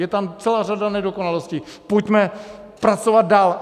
Je tam celá řada nedokonalostí, pojďme pracovat dál.